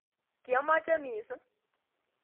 "Kiomoche missing"